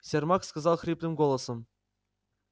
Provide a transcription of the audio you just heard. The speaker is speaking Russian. сермак сказал хриплым голосом